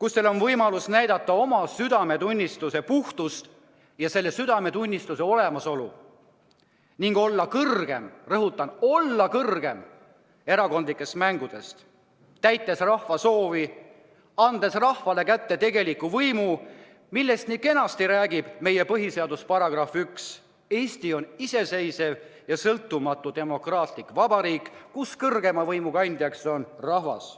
kus teil on võimalus näidata oma südametunnistuse puhtust ja südametunnistuse olemasolu ning olla kõrgem – rõhutan: olla kõrgem – erakondlikest mängudest, täites rahva soovi, andes rahvale kätte tegeliku võimu, millest nii kenasti räägib meie põhiseaduse §1: "Eesti on iseseisev ja sõltumatu demokraatlik vabariik, kus kõrgeima riigivõimu kandja on rahvas.